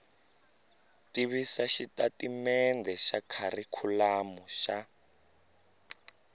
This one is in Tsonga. tivisa xitatimendhe xa kharikhulamu xa